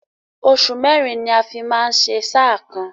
Oṣù mẹ́rin ni a fi máa ń ṣe sáà kan.